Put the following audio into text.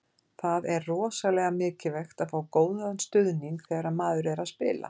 Það er rosalega mikilvægt að fá góðan stuðning þegar maður er að spila.